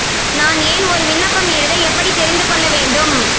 நான் ஏன் ஒரு விண்ணப்பம் எழுத எப்படி தெரிந்து கொள்ள வேண்டும்